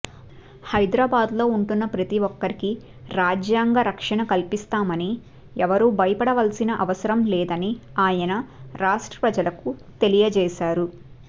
హైదరాబాద్ లో ఉంటున్న ప్రతిఒక్కరికి రాజ్యాంగ రక్షణ కల్పిస్తామని ఎవరు భయపడవలసిన అవసరం లేదని ఆయన రాష్ట్ర ప్రజలకు తెలియజేశారు